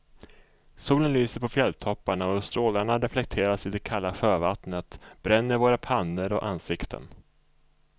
Solen lyser på fjälltopparna och strålarna reflekteras i det kalla sjövattnet, bränner våra pannor och ansikten.